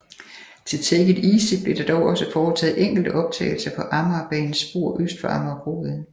Til Take It Easy blev der dog også foretaget enkelte optagelser på Amagerbanens spor øst for Amagerbrogade